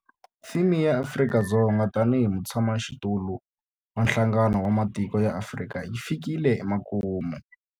Theme ya Afrika-Dzonga tanihi mutshamaxitulu wa Nhlangano wa Matiko ya Afrika yi fikile emakumu.